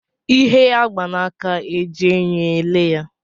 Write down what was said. Ihe a gba n'aka e ji enyo ele ya?